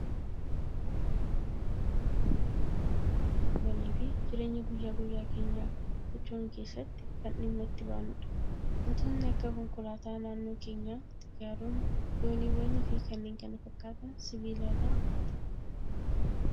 Jireenya ilma keessatti, sibiilotni iddoo guddaa kan qabanii fi jireenya guyyaa guyyaa keenyaa sochoonu keessatti kan dhimma itti baanudha. Waantotni akka konkolaataa naannoo keenyaa, xiyyaaronni, dooniiwwanii fi kanneen kana fakkaatan sibiila irraa hojjetama.